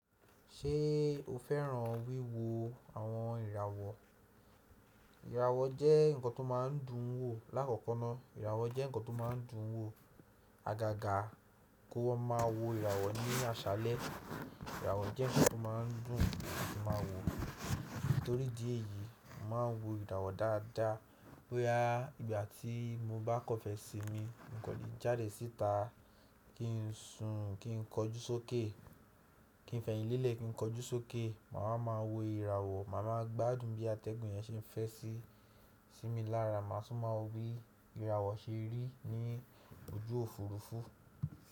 Ṣé o fẹ́ràn wíwo àwọn ìràwọ̀? Ìràwọ̀ jẹ́ ǹkan tó má ń dùn ún wò. Láàkọ́kọ́ná ìràwọ̀ jẹ́ ǹkan tó má ń dùn ún wò. Àgàgà kó wá má wò ìràwọ̀ ní àṣálẹ́. Ìràwọ̀ jẹ́ ǹkan tó má ń dùn ún kí n má wò ó. Nítorí dí èyí, mo má ń wò ìràwọ̀ dáadáa. Bo ya tí mo bá kọ́fẹ́ sí mi, n kò lè jáde síta kí n sùn, kí n kọjú sókè, kí n fẹ̀yìnlélẹ̀, kí n kọjú sókè, màá wá máa wò ìràwọ̀. Màá má gbádùn bí atẹ́gùn yẹn ṣe ń fẹ́ sí mi lára. Màá tún má wò bí ìràwọ̀ ṣe rí ní ojú òfurufú.